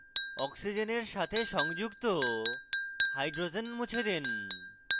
oxygen সাথে সংযুক্ত hydrogen মুছে দিন